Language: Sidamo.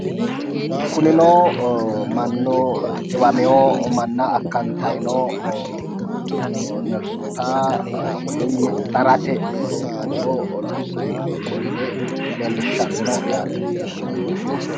Kunino mannu dhiwamiwo manna akkantayi noo nersoota woyimmi darate looso loossayi noo gede leellishshanno yaate.